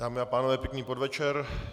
Dámy a pánové, pěkný podvečer.